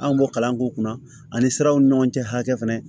An b'o kalan k'u kunna ani siraw ni ɲɔgɔncɛ hakɛ fɛnɛ